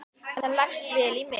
Það leggst vel í mig.